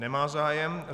Nemá zájem.